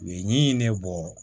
U ye ɲɛɲini ne bɔ